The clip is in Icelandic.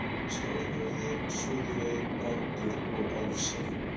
Stórhöfði, Suðurey, Brandur og Álfsey.